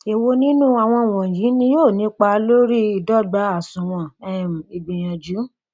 èwo nínu àwọn wọnyí ni ó nípa lóri ìdọgba àsunwon um ìgbìyànjú